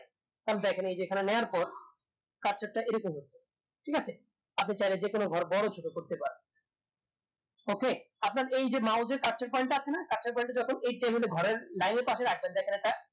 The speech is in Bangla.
থালে দেখেন এই যে এখানে part টা এরকম মতো ঠিক আছে আপনি চাইলে যেকোনো ঘর বড় ছোট করতে পারেন okay আপনার এই যে এর কাছের টা আছে না কাছের টা যখন এই এর ঘরের এর পাশে দেখেন একটা